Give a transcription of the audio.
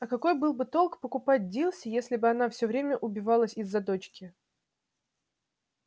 а какой был бы толк покупать дилси если бы она все время убивалась из-за дочки